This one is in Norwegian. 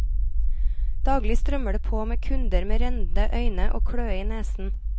Daglig strømmer det på med kunder med rennende øyne og kløe i nesen.